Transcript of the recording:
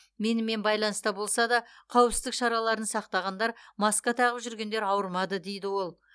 менімен байланыста болса да қауіпсіздік шараларын сақтағандар маска тағып жүргендер ауырмады дейді ол